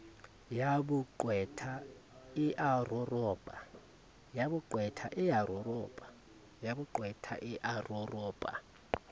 ya boqwetha e a roropa